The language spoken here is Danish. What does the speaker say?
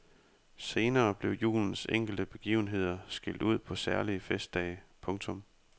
Senere blev julens enkelte begivenheder skilt ud på særlige festdage. punktum